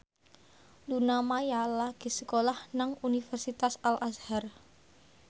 Luna Maya lagi sekolah nang Universitas Al Azhar